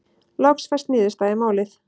Loks fæst niðurstaða í málið.